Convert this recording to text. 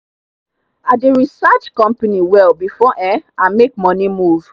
i dey research company well before um i make money-move.